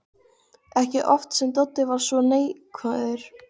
Ekki oft sem Doddi er svona neikvæður.